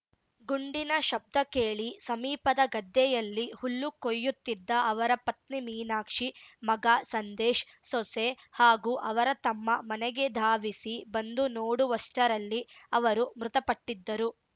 ಗುಂಡಿನ ಶಬ್ದ ಕೇಳಿ ಸಮೀಪದ ಗದ್ದೆಯಲ್ಲಿ ಹುಲ್ಲು ಕೊಯ್ಯುತ್ತಿದ್ದ ಅವರ ಪತ್ನಿ ಮೀನಾಕ್ಷಿ ಮಗ ಸಂದೇಶ್ ಸೊಸೆ ಹಾಗೂ ಅವರ ತಮ್ಮ ಮನೆಗೆ ಧಾವಿಸಿ ಬಂದು ನೋಡುವಷ್ಟರಲ್ಲಿ ಅವರು ಮೃತಪಟ್ಟಿದ್ದರು